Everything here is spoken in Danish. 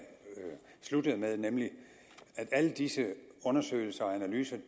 sluttede med nemlig at disse undersøgelser og analyser